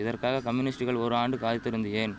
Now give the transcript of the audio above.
இதற்காக கம்யூனிஸ்ட்டுகள் ஒரு ஆண்டு காய்திருந்து ஏன்